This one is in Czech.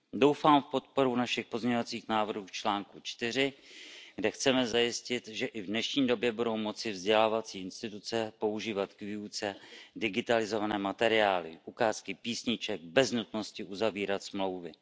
Doufám v podporu našich pozměňovacích návrhů k článku 4, kde chceme zajistit, že i v dnešní době budou moci vzdělávací instituce používat k výuce digitalizované materiály, ukázky písniček bez nutnosti uzavírat smlouvy.